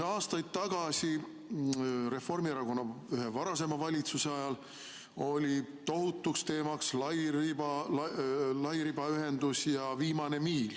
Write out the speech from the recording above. Aastaid tagasi Reformierakonna ühe varasema valitsuse ajal oli tohutuks teemaks lairibaühendus ja viimane miil.